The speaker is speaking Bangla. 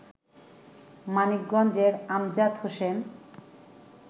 মানিকগঞ্জের আমজাদ হোসেন